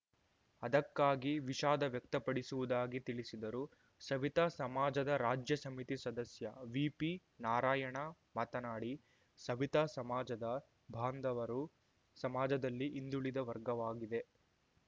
ಅದಕ್ಕಾಗಿ ವಿಷಾದ ವ್ಯಕ್ತಪಡಿಸುವುದಾಗಿ ತಿಳಿಸಿದರು ಸವಿತಾ ಸಮಾಜದ ರಾಜ್ಯ ಸಮಿತಿ ಸದಸ್ಯ ವಿಪಿ ನಾರಾಯಣ ಮಾತನಾಡಿ ಸವಿತಾ ಸಮಾಜದ ಬಾಂಧವರು ಸಮಾಜದಲ್ಲಿ ಹಿಂದುಳಿದ ವರ್ಗವಾಗಿದೆ